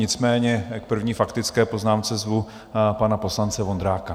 Nicméně k první faktické poznámce zvu pana poslance Vondráka.